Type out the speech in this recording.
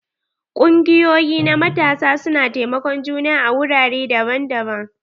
Kungiyoƴi na matasa su na taimakon juna a wurare daban-daban.